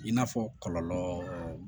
I n'a fɔ kɔlɔlɔ